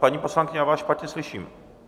... paní poslankyně, já vás špatně slyším.